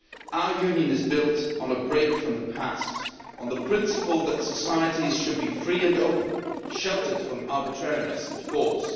Our Union is built on a break from the past, on the principle that societies should be free and open, sheltered from arbitrariness and force.